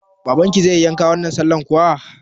Babanki zai yi yanka wannan sallan kuwa?